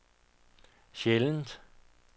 sjældent